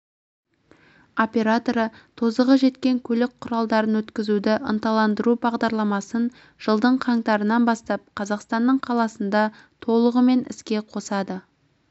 операторы тозығы жеткен көлік құралдарын өткізуді ынталандыру бағдарламасын жылдың қаңтарынан бастап қазақстанның қаласында толығымен іске қосады